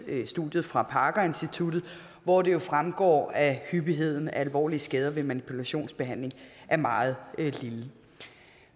studiet fra parker instituttet hvoraf det jo fremgår at hyppigheden af alvorlige skader ved manipulationsbehandling er meget lille